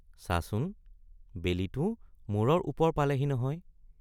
চাচোন বেলিটো মূৰৰ ওপৰ পালেহি নহয়।